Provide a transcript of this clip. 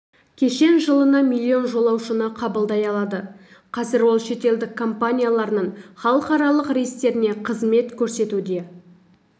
кешен жылына миллион жолаушыны қабылдай алады қазір ол шетелдік әуе компанияларының халықаралық рейстеріне қызмет көрсетуде